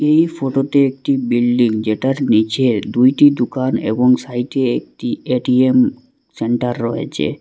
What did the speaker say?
এই ফটোতে একটি বিল্ডিং যেটার নিচে দুইটি দোকান এবং সাইডে একটি এ_টি_এম সেন্টার রয়েছে।